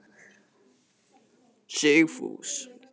Sigfús